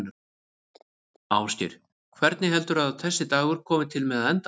Ásgeir: Hvernig heldurðu að þessi dagur komi til með að enda?